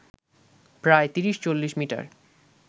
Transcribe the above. প্রায় তিরিশ-চল্লিশ মিটার